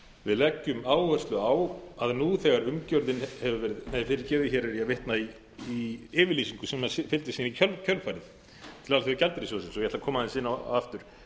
við leggjum áherslu á að nú þegar umgjörðin hefur verið nei fyrirgefið hér er ég að vitna í yfirlýsingu sem fylgdi síðan í kjölfarið til alþjóðagjaldeyrissjóðsins og ég ætla að koma aðeins inn á aftur